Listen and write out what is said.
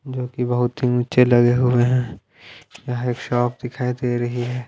जो की बहोत ही नीचे लगे हुए हैं यहां एक शॉप दिखाई दे रही है।